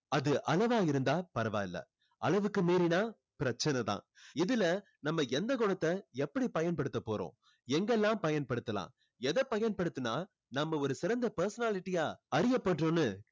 அது அளவா இருந்தா பரவாயில்ல அளவுக்கு மீறினா பிரச்சனை தான் இதுல நம்ம எந்த குணத்தை எப்படி பயன்படுத்த போறோம் எங்கல்லாம் பயன்படுத்தலாம் எதை பயன்படுத்தினா நம்ம ஒரு சிறந்த personality ஆ அறியப்படுறோம்னு